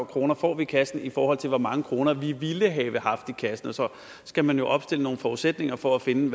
kroner får vi i kassen i forhold til hvor mange kroner vi ville have haft i kassen så skal man jo opstille nogle forudsætninger for at finde